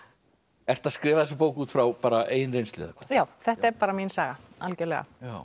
ertu að skrifa þessa bók út frá eigin reynslu eða hvað já þetta er bara mín saga algjörlega